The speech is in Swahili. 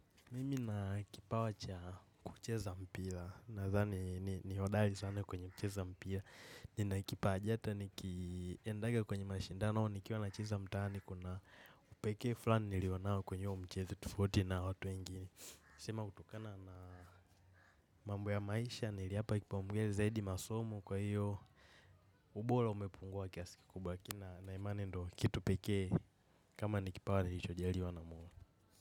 Mimi na kipawa cha kucheza mpila nadhani ni hodali sana kwenye kucheza mpila nina kipaaji ata nikiendaga kwenye mashindanao nikiwa nacheza mtaani kuna upekee fulani nilionao kwenye uo mchezo tofauti na watu wengine sema hutokana na mambo ya maisha niliyapa kipaumbele zaidi masomo kwa hiyo ubora umepungua kiasi kikubwa lakini nina imani ndo kitu pekee kama nikipawa nilichojaliwa na mola.